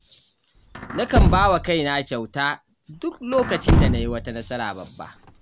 Nakan ba wa kaina kyauta duk lokacin da na yi wata nasara babba.